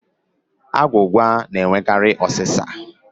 Agwụgwa na-enwekarị ụ́sà.